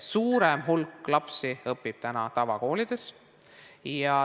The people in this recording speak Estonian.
Suurem hulk lapsi õpib täna tavakoolides.